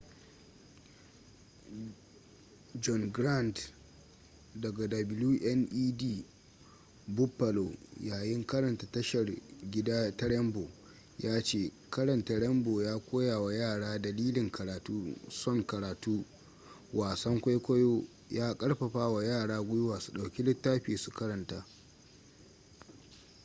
john grant daga wned buffalo yayin karanta tashar gida ta rainbow ya ce karanta rainbow ya koya wa yara dalilin karatu son karatu - [wasan kwaikwayo] ya karfafa wa yara gwiwa su dauki littafi su karanta.